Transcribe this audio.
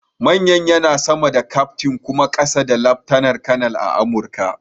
Manyan yana sama da kyaftin kuma ƙasa da laftanar kanar a Amurka.